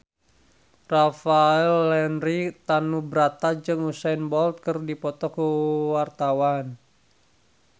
Rafael Landry Tanubrata jeung Usain Bolt keur dipoto ku wartawan